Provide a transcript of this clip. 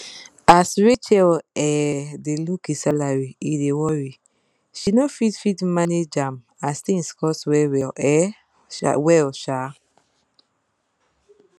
as rachel um dey look e salary e dey worry she no fit fit manage ahm as thing cost well well um well um